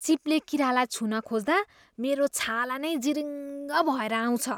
चिप्ले किरालाई छुन खोज्दा मेरो छाला नै जिरिङ्ग भएर आउँछ।